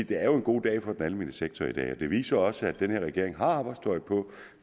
dag er en god dag for den almene sektor det det viser også at denne regering har arbejdstøjet på